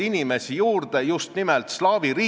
Või pigem ei suudeta olulist ebaolulisest eristada?